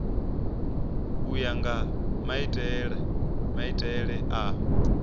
u ya nga maitele a